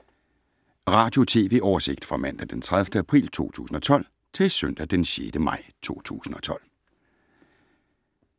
Radio/TV oversigt fra mandag d. 30. april 2012 til søndag d. 6. maj 2012